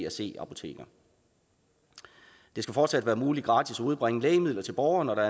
og c apoteker det skal fortsat være muligt gratis at udbringe lægemidler til borgere når der